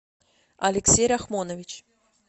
алексей рахмонович